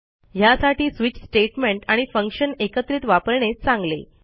ह्यासाठी switch statement आणि function एकत्रित वापरणे चांगले